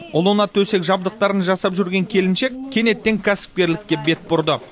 ұлына төсек жабдықтарын жасап жүрген келіншек кенеттен кәсіпкерлікке бет бұрды